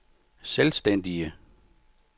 selvstændige